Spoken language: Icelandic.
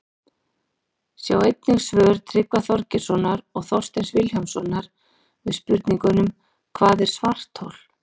Sjá einnig svör Tryggva Þorgeirssonar og Þorsteins Vilhjálmssonar við spurningunum Hvað er svarthol?